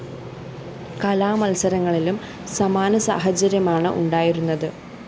കലാമത്സരങ്ങളിലും സമാന സാഹചര്യമാണ് ഉണ്ടായിരുന്നത്